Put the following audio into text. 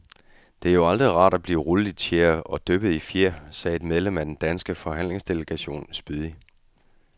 Det er jo aldrig rart af blive rullet i tjære og dyppet i fjer, sagde et medlem af den danske forhandlingsdelegation spydigt.